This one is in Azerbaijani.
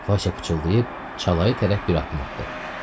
Vaysa pıçılayıb çalaya tərəf bir addım atdı.